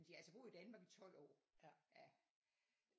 De har altså boet i Danmark i 12 år ja